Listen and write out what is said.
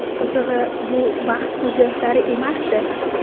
Qizig‘i, bu baxt ko‘z yoshlari emasdi.